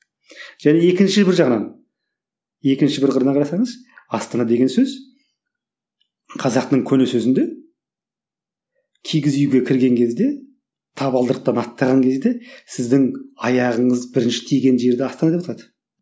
және екінші бір жағынан екінші бір қырына қарасаңыз астана деген сөз қазақтың көне сөзінде кигіз үйге кірген кезде табалдырықтан аттаған кезде сіздің аяғыңыз бірінші тиген жер астана деп аталады